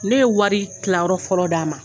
Ne ye wari kilayɔrɔ fɔlɔ d'a ma